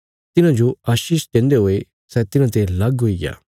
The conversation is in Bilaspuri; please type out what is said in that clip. तिन्हाजो आशीष देन्दे हुये सै तिन्हाते लग हुईग्या कने परमेशर तिस्सो स्वर्गा जो लेईग्या